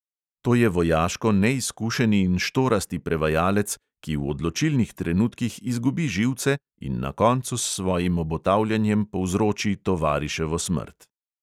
To je vojaško neizkušeni in štorasti prevajalec, ki v odločilnih trenutkih izgubi živce in na koncu s svojim obotavljanjem povzroči tovariševo smrt.